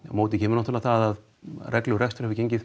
móti kemur að rekstur hefur gengið